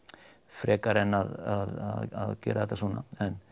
frekar en að gera þetta svona